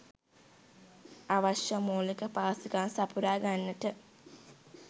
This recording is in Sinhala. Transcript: අවශ්‍ය මූලික පහසුකම් සපුරා ගන්නට